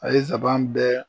A ye saban bɛɛ.